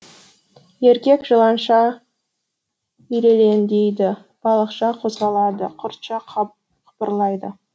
еркек жыланша ирелеңдейді балықша қозғалады құртша қыбырлайды